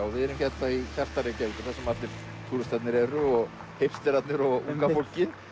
og við erum hérna í hjarta Reykjavíkur þar sem allir túristarnir eru og hipsterarnir og unga fólkið